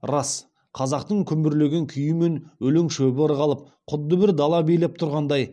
рас қазақтың күмбірлеген күйімен өлең шөбі ырғалып құдды бір дала билеп тұрғандай